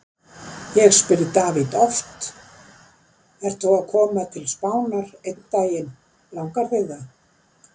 Ég spyr David oft: Ert þú að koma til Spánar einn daginn, langar þig það?